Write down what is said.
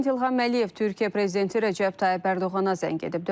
Prezident İlham Əliyev Türkiyə Prezidenti Rəcəb Tayyib Ərdoğana zəng edib.